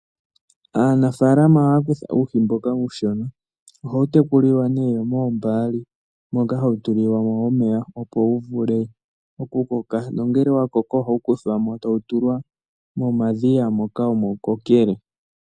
Aanafalama ohaya kutha uuhi mboka uushona. Ohawu tekuliwa nee mombaali moka hawu tulilwamo omeya, opo wuvule okukoka, nongele owakoko tawu tulwa momadhiya moka omo wukokele.